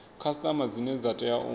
khasiṱama dzine dza tea u